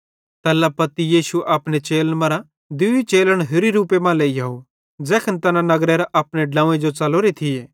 तैल्ला पत्ती यीशु अपने चेलन मरां दूई चेलन होरि रूपे मां लेइहोव ज़ैखन तैना यरूशलेम नगरेरां अपने ड्लोंव्वे जो च़लोरे थिये